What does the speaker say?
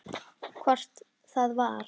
Hvort það var!